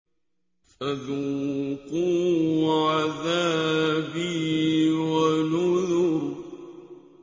فَذُوقُوا عَذَابِي وَنُذُرِ